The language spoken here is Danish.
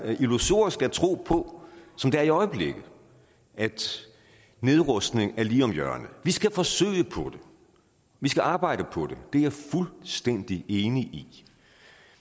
illusorisk at tro på som det er i øjeblikket at nedrustning er lige om hjørnet vi skal forsøge på det vi skal arbejde på det det er jeg fuldstændig enig i